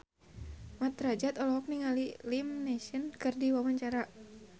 Mat Drajat olohok ningali Liam Neeson keur diwawancara